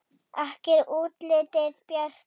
Ekki er útlitið bjart!